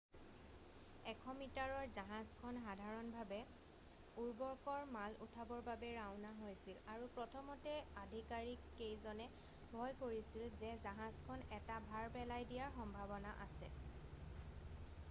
100 মিটাৰৰ জাহাজখন সাধাৰণভাৱে উৰ্বৰকৰ মাল উঠাবৰ বাবে ৰাওনা হৈছিল আৰু প্ৰথমতে আধিকাৰীক কেইজনে ভয় কৰিছিল যে জাহাজখন এটা ভাৰ পেলাই দিয়াৰ সম্ভাৱনা আছে